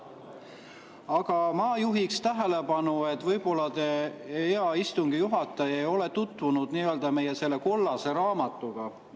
Aga ma juhiksin tähelepanu, et võib-olla te, hea istungi juhataja, ei ole tutvunud meie kollase raamatuga.